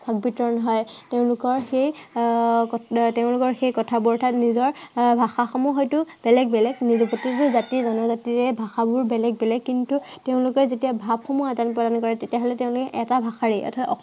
ভাৱ বিতৰণ হয়। তেওঁলোকৰ সেই আহ কথা আহ তেওঁলোকৰ সেই অৰ্থাত আহ নিজৰ ভাষাসমূহ বেলেগ বেলেগ কিন্তু গোটেইবোৰ জাতি জনজাতিৰে ভাষাবোৰ বেলেগ বেলেগ। কিন্তু তেওঁলোকে যেতিয়া ভাৱসমূহ আদান-প্ৰদান কৰে তেতিয়া হলে তেওঁলোকে এটা ভাষাৰেই, অৰ্থাত